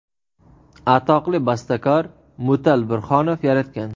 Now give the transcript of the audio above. atoqli bastakor Mutal Burhonov yaratgan.